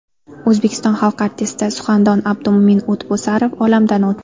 O‘zbekiston xalq artisti, suxandon Abdumo‘min O‘tbosarov olamdan o‘tdi.